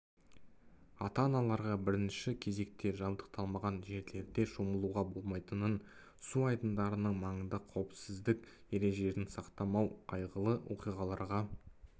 ата-аналарға бірінші кезекте жабдықталмаған жерлерде шомылуға болмайтынын су айдындарының маңында қауіпсіздік ережелерін сақтамау қайғылы оқиғаларға